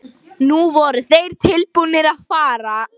Nú voru þeir tilbúnir að fara.